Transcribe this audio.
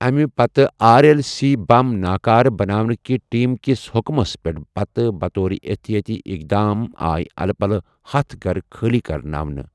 اَمہِ پتہٕ R L C بم ناكارٕ بناونٕكہِ ٹیم كِس حٖٗكمس پیٹھ پتہٕ بطورِ احتیٲتی اقدام آے الہٕ پلہٕ ہتھَ گھرٕ خٲلی كرناونہٕ ۔